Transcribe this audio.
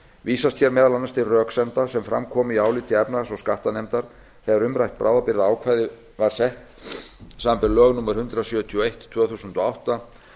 vísast hér meðal annars til röksemda sem fram komu í áliti efnahags og skattanefndar þegar umrætt bráðabirgðaákvæði var sett samanber lög númer hundrað sjötíu og eitt tvö þúsund og átta